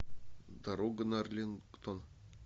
дорога на арлингтон